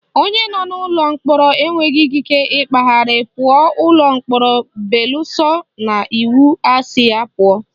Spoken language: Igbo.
Onye nọ n'ụlọ mkpọrọ enweghị ikike ịkpagharị pụọ ụlọ mkpọrọ beluso na iwu asị ya pụọ